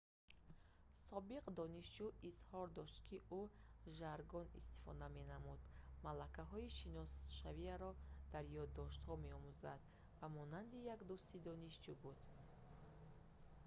собиқ донишҷӯ изҳор дошт ки ӯ жаргон истифода менамуд малакаҳои шиносшавиро дар ёддоштҳо меомӯзонд ва монанди як дӯсти донишҷӯён буд